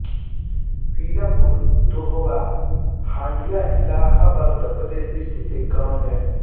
वीरापुर धोवहा हंडिया इलाहाबाद उत्तर प्रदेश स्थित एक गाँव है